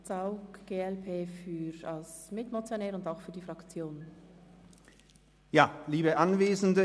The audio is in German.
Hannes Zaugg spricht als Mitmotionär und Fraktionssprecher.